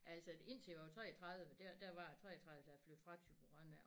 Altså indtil jeg var 33 der der var jeg 33 da jeg flyttede fra Thyborøn af